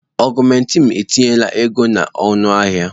Augụmentịn etinye la ego na ọnụahịa.